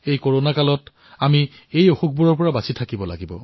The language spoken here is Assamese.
কৰোনা কালত আমি ইয়াৰ পৰাও ৰক্ষা পৰিব লাগিব